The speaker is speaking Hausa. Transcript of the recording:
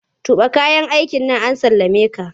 Tuɓe kayan aikin an sallameka!